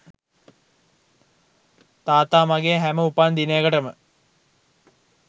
තාත්තා මගේ හැම උපන් දිනයකටම